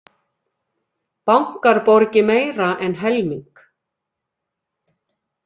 Bankar borgi meira en helming